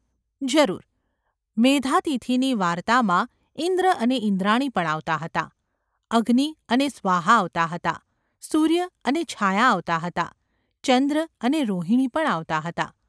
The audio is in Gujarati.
જરૂર, મેધાતિથિની વાર્તામાં ઈંદ્ર અને ઈંદ્રાણી પણ આવતાં હતાં; અગ્નિ અને સ્વાહા આવતાં હતાં, સૂર્ય અને છાયા આવતાં હતાં, ચંદ્ર અને રોહિણી પણ આવતાં હતાં.